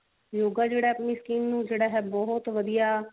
yoga ਜਿਹੜਾ ਹੈ ਆਪਣੀ skin ਨੂੰ ਜਿਹੜਾ ਬਹੁਤ ਵਧੀਆ